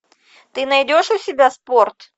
ты найдешь у себя спорт